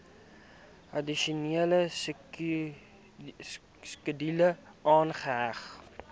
addisionele skedule aangeheg